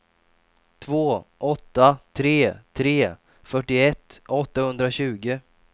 två åtta tre tre fyrtioett åttahundratjugo